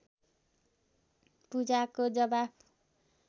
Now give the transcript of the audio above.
पूजाको जवाफ